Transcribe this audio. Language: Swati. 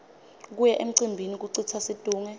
kuya emcimbini kucitsa situnge